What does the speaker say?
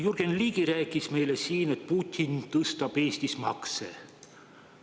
Jürgen Ligi rääkis meile siin, et Putin tõstab Eestis makse.